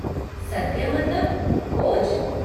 सद्या मतलब, भोज?